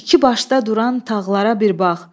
İki başda duran tağlara bir bax.